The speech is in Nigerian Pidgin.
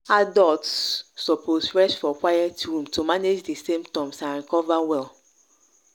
adults suppose rest for quiet room to manage di symptoms and recover well.